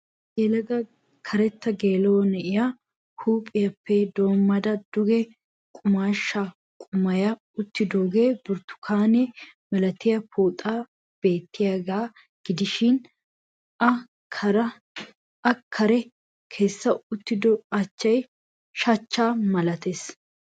Yelaga karetta geela'o na'iya huuphphiyappe doommada duge qumaashsha qumaaya uttido burttukaane malatiya pooxay beettiyaga gidishin a kare kessa uttido achchay shachchaa malatees.